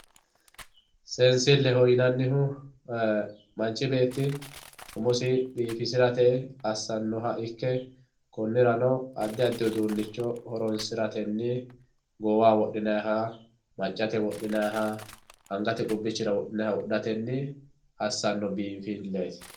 Seensileho yinannihu manchi beetti umosi biifisirate assanoha ikke konirano addi addi uduunicho horonsiratenni goowaho wodhinanniha ,maccate wodhinanniha angate qubbichira wodhinanniha wodhatenni assano biinfileti.